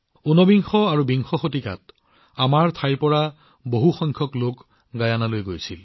উনবিংশ আৰু বিংশ শতিকাত ইয়াৰ পৰা বহু সংখ্যক লোক গিয়েনালৈ গৈছিল